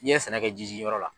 I ye sɛnɛ kɛ ji ji yɔrɔ la.